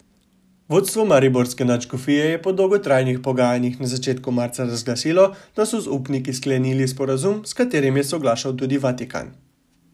Vodstvo mariborske nadškofije je po dolgotrajnih pogajanjih na začetku marca razglasilo, da so z upniki sklenili sporazum, s katerim je soglašal tudi Vatikan.